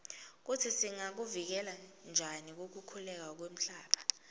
kutsi singakuvikela njani kukhukhuleka kwemhlaba